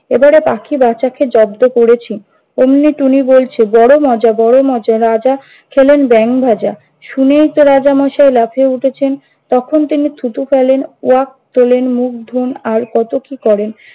এবারে পাখি বাছাকে জব্দ করেছি। ওমনি টুনি বলছে, বড় মজা বড় মজা রাজা খেলেন ব্যাঙ ভাজা। শুনেই তো রাজামশাই লাফিয়ে উঠেছেন! তখন তিনি থুতু ফেললেন ওয়াক তোলেন, মুখ ধোন, আর কত কি করেন!